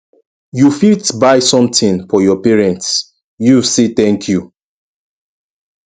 you fit buy something for your parents use say thank you